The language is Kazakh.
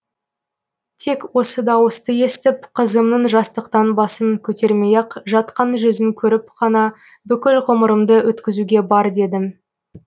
тек осы дауысты естіп қызымның жастықтан басын көтермей ақ жатқан жүзін көріп қана бүкіл ғұмырымды өткізуге бар дедім